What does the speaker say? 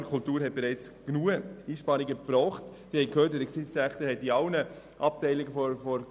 Das Amt für Kultur (AK) hat bereits genügend Einsparungen vorgenommen.